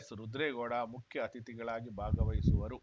ಎಸ್‌ರುದ್ರೇಗೌಡ ಮುಖ್ಯ ಅತಿಥಿಗಳಾಗಿ ಭಾಗವಹಿಸುವರು